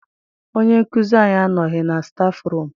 Onye nkụzi anyị anọghị na stafụrum.